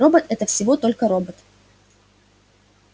робот-это всего только робот